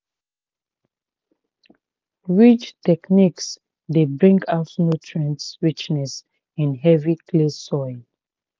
ridge techniques dey bring out nutrient richness in heavy clay soils."